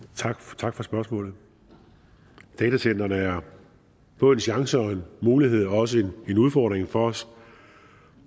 tak for tak for spørgsmålet datacentrene er både en chance og en mulighed og også en udfordring for os